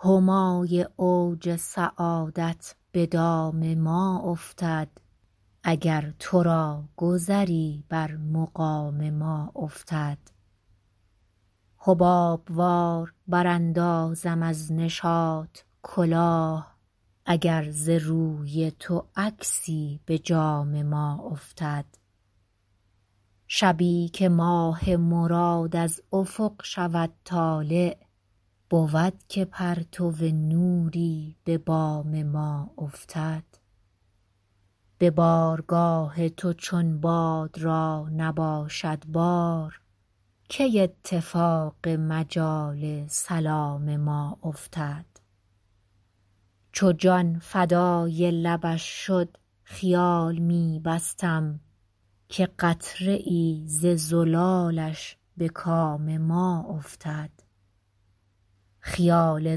همای اوج سعادت به دام ما افتد اگر تو را گذری بر مقام ما افتد حباب وار براندازم از نشاط کلاه اگر ز روی تو عکسی به جام ما افتد شبی که ماه مراد از افق شود طالع بود که پرتو نوری به بام ما افتد به بارگاه تو چون باد را نباشد بار کی اتفاق مجال سلام ما افتد چو جان فدای لبش شد خیال می بستم که قطره ای ز زلالش به کام ما افتد خیال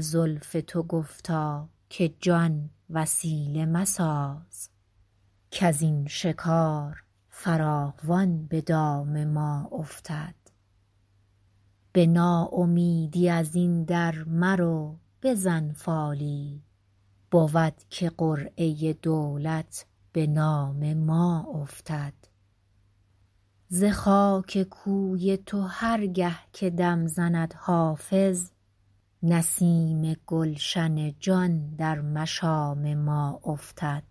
زلف تو گفتا که جان وسیله مساز کز این شکار فراوان به دام ما افتد به ناامیدی از این در مرو بزن فالی بود که قرعه دولت به نام ما افتد ز خاک کوی تو هر گه که دم زند حافظ نسیم گلشن جان در مشام ما افتد